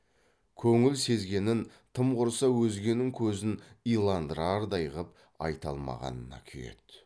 көңіл сезгенін тым құрыса өзгенің көзін иландырардай қып айта алмағанына күйеді